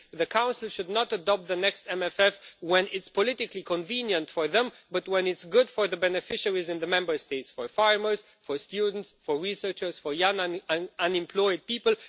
The Council should not adopt the next MFF when it is politically convenient for them, but when it is good for the beneficiaries in the Member States for farmers, students, researchers and young unemployed people.